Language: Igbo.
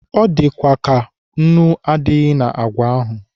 Ọ dịkwa ka nnu adịghị na àgwà ahụ.